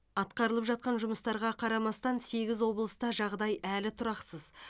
атқарылып жатқан жұмыстарға қарамастан сегіз облыста жағдай әлі тұрақсыз